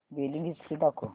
billing history दाखव